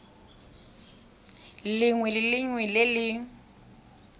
lengwe le lengwe le le